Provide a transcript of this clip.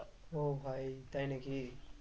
ও ভাই তাই নাকি?